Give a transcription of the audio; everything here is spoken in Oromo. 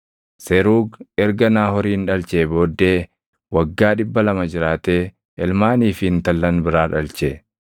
Seruugi erga Naahoorin dhalchee booddee waggaa 200 jiraatee ilmaanii fi intallan biraa dhalche.